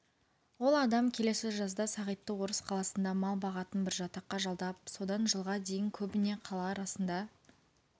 ол адам келесі жазда сағитты орыс қаласында мал бағатын бір жатаққа жалдап содан жылға дейін көбіне қала арасында